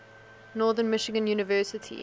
northern michigan university